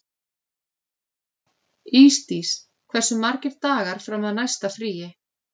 Ísdís, hversu margir dagar fram að næsta fríi?